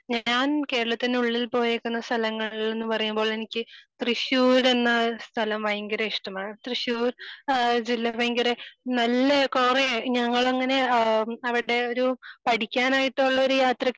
ഞാൻ കേരളത്തിന് ഉള്ളിൽ പോയേക്കുന്ന സ്ഥലങ്ങളില് എന്ന് പറയുമ്പോൾ എനിക്ക് തൃശൂർ എന്ന സ്ഥലം ഭയങ്കര ഇഷ്ടമാണ്. തൃശൂർ ആഹ് ജില്ല ഭയങ്കര നല്ല കൊറേ ഞങ്ങളെ അങ്ങനെ ഏഹ് പറയട്ടെ ഒരു ഏഹ് പഠിക്കാനായിട്ടുള്ള ഒരു യാത്രക്ക്